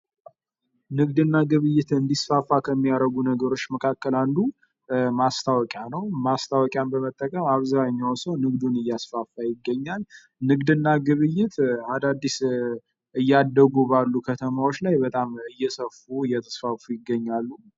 ንግድ እና ግብይት እንዲያስፋፋ ከሚያደርጉ ነገሮች አንዱ ማስታወቂያ ነዉ። ማስታወቂያን በመጠቀም አብዛኛዉ ሰዉ ንግዱን እያስፋፋ ይገኛል። ንግድ እና ግብይት አዳዲስ እያደጉ በሚገኙ ከተማዎች ላይ እያደጉ እየተስፋፉ ይገኛሉ።